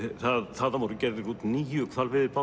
þaðan voru gerðir út níu